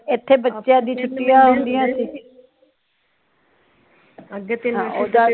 ਇੱਥੇ ਬਚਿਆ ਦੀਆ ਛੁੱਟੀਆਂ ਹੁੰਦੀਆਂ ਸੀ